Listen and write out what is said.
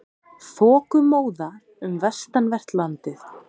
Þokumóða um vestanvert landið